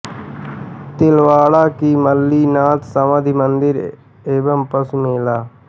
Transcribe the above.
तिलवाड़ा की मल्लिनाथ समाधि मंदिर एवं पशु मेला